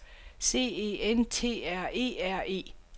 C E N T R E R E